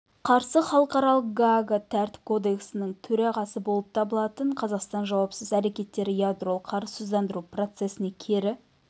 қарсы халықаралық гаага тәртіп кодексінің төрағасы болып табылатын қазақстан жауапсыз әрекеттері ядролық қарусыздандыру процесіне кері